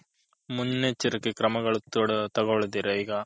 ಮುನೆಚ್ಚರಿಕೆ ಕ್ರಮಗಳನು ತಗೊಳ್ದೀರೆ ಈಗ